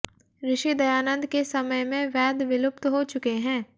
ऋषि दयानन्द के समय में वेद विलुप्त हो चुके हैं